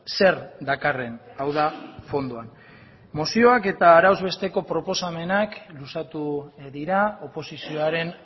zer dakarren hau da fondoan mozioak eta arauz besteko proposamenak luzatu dira oposizioaren